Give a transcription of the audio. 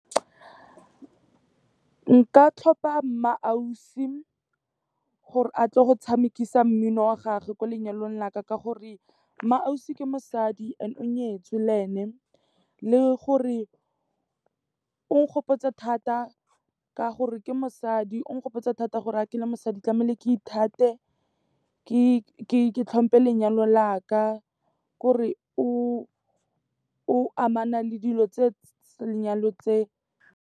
Nka tlhopha MmaAusi gore a tle go tshamekisiwa mmino wa gage ko lenyalong laka ke gore MmaAusi ke mosadi and o nyetswe le ene, le gore o nkgopotsa thata ka gore ke mosadi o nkgopotsa thata gore ga ke le mosadi tlamehile ke ithate, ke tlhompe lenyalo la ka, ke gore re o amana le dilo tse lenyalo tse.